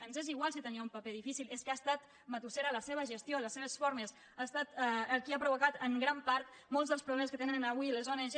ens és igual si tenia un paper difícil és que ha estat matussera la seva gestió les seves formes ha estat el qui ha provocat en gran part molts dels problemes que tenen avui les ong